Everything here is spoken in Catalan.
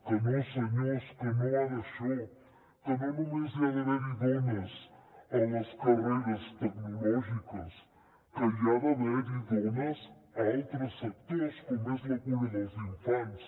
que no senyors que no va d’això que no només hi ha d’haver hi dones a les carreres tecnològiques que hi ha d’haver hi homes a altres sectors com és la cura dels infants